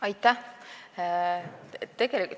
Aitäh!